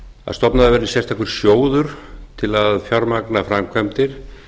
að stofnaður verði sérstakur sjóður til að fjármagna framkvæmdir